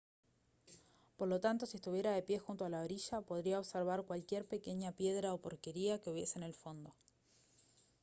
por lo tanto si estuviera de pie junto a la orilla podría observar cualquier pequeña piedra o porquería que hubiese en el fondo